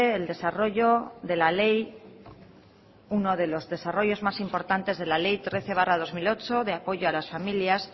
el desarrollo de la ley uno de los desarrollos más importantes de la ley trece barra dos mil ocho de apoyo a las familias